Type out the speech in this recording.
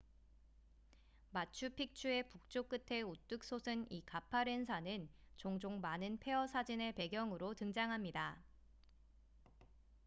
마추픽추의 북쪽 끝에 우뚝 솟은 이 가파른 산은 종종 많은 폐허 사진의 배경으로 등장합니다